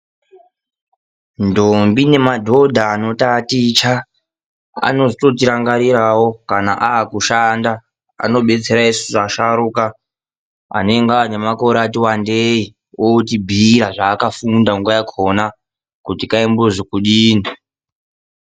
Ndombi nemadhodha anotaticha, anozototirangarirawo kana aakushanda. Anobetsera isusu asharuka, anenge aanemakore ati wandei. Otibhiira zvaakafunda nguwa yakhona, kuti kaimbozi kudini.